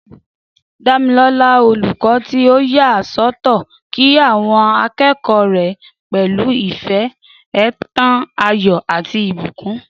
Damilola, olùkọ́ tí ó yà sọ́tọ̀, kí àwọn akẹ́kọ̀ọ́ rẹ̀ pẹ̀lú ìfẹ́, ó ń tan ayọ̀ àti ìbùkún.